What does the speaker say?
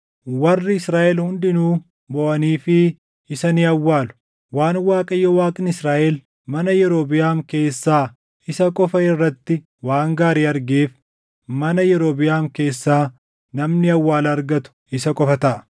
Warri Israaʼel hundinuu booʼaniifii isa ni awwaalu. Waan Waaqayyo Waaqni Israaʼel mana Yerobiʼaam keessaa isa qofa irratti waan gaarii argeef, mana Yerobiʼaam keessaa namni awwaala argatu isa qofa taʼa.